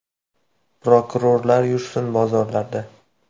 “Prokurorlar yursin bozorlarda.